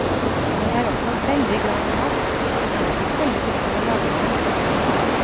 Jeg er også veldig glad i mat, men er ikke så veldig flink til å lage den.